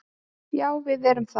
Já, við erum það.